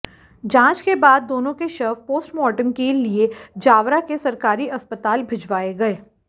जांच के बाद दोनों के शव पोस्टमार्टम के लिए जावरा के सरकारी अस्पताल भिजवाए गए